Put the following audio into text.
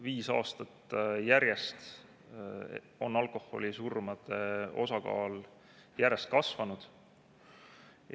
Viis aastat järjest on alkoholisurmade osakaal järjest kasvanud.